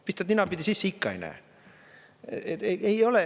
Pistad ninapidi sisse, ikka ei näe.